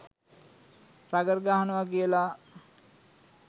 rugger ගහනවා කියල